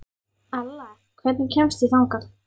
Alla, hvernig kemst ég þangað?